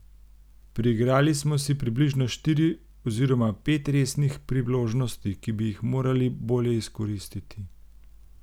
Priigrali smo si približno štiri oziroma pet resnih priložnosti, ki bi jih morali bolje izkoristiti.